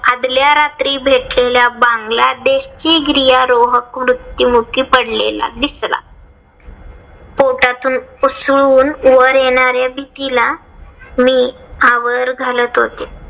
आदल्या रात्री भेटलेला बांगलादेशी गिर्यारोहक मृत्युमुखी पडलेला दिसला. पोटातून उसळून वर येणाऱ्या भीतीला मी आवर घालत होते.